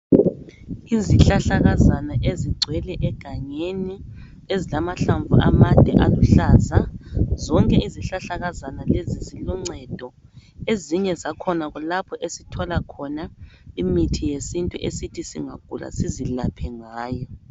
Izihlahlakazana ezigcwele egangeni ezilamahlamvu amade aluhlaza, zonke izihlahlakazana lezi ziloncedo. Ezinye zakhona kulapho esithola khona imithi yesintu esithi singagula sizilaphe ngayo.